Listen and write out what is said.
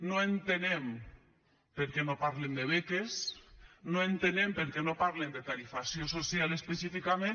no entenem per què no parlen de beques no entenem per què no parlen de tarifació social específicament